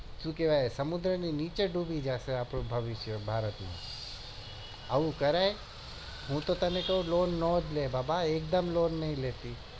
સુ કેવાય સમુદની નીચે જ ડૂબી જશે આપડું ભવિષ્ય ભારત નું આવું કરાય હૂતો તને કું loan ન જ લે બા પા એક દમ loan નઈ લેતી આવું કરાય